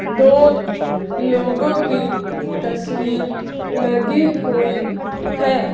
दो लोगों की तस्वीर लगी हुई है।